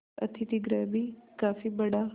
अतिथिगृह भी काफी बड़ा